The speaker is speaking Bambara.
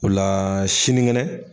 O la sinikɛnɛ